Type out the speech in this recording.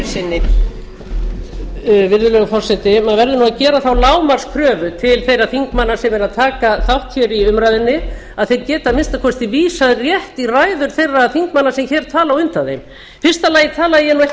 forseti maður verður nú að gera þá lágmarkskröfu til þeirra þingmanna sem eru að taka þátt hér í umræðunni að þeir geti að minnsta kosti vísað rétt í ræður þeirra þingmanna sem hér tala á undan þeim í fyrsta lagi talaði ég ekki um